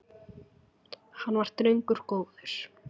Hann var drengur góður